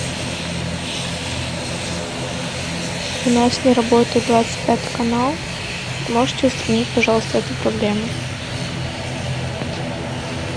у нас не работает двадцать пятый канал можете устранить пожалуйста эту проблему